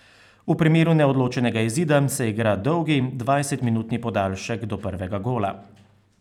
V primeru neodločenega izida se igra dolgi, dvajsetminutni podaljšek do prvega gola.